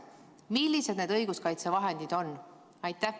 Millised need õiguskaitsevahendid on?